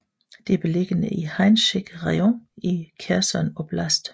Det er beliggende i Henichesk Raion i Kherson Oblast